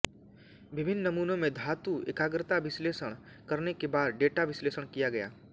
विभिन्न नमूनों में धातु एकाग्रता विश्लेषण करने के बाद डेटा विश्लेषण किया गया